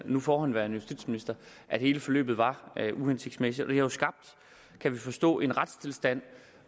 nu forhenværende justitsminister at hele forløbet var uhensigtsmæssigt det har jo skabt kan vi forstå en retstilstand